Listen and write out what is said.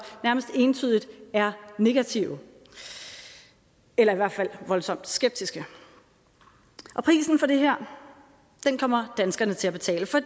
nærmest entydigt er negative eller i hvert fald voldsomt skeptiske prisen for det her kommer danskerne til at betale for